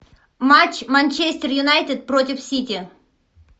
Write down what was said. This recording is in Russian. матч манчестер юнайтед против сити